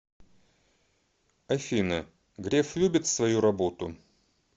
афина греф любит свою работу